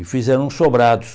E fizeram sobrados.